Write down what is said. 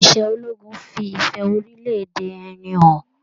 Iṣẹ ológun fí ìfẹ orilẹ-èdè ẹni hàn.